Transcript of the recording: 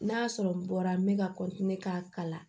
N'a y'a sɔrɔ n bɔra n bɛ ka k'a kala